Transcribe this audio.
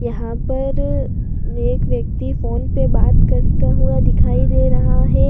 यहां पर अनेक व्यक्ति फोन पर बात करता हुआ दिखाई दे रहा है।